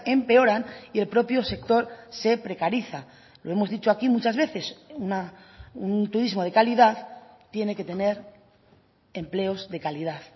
empeoran y el propio sector se precariza lo hemos dicho aquí muchas veces un turismo de calidad tiene que tener empleos de calidad